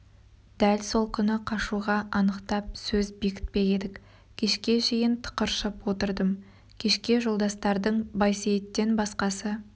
дәл сол күні қашуға анықтап сөз бекітпек едік кешке шейін тықыршып отырдым кешке жолдастардың байсейіттен басқасы